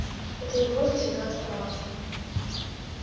эта угроза всегда оставалась